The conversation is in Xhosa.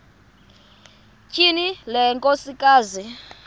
tyhini le nkosikazi